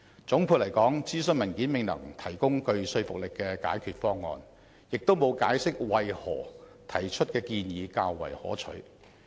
總括而言，諮詢文件未能提供具說服力的解決方案，亦沒有解釋為何提出的建議較為可取。